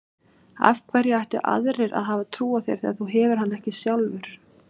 Af hverju ættu aðrir að hafa trú á þér þegar þú hefur hana ekki sjálfur?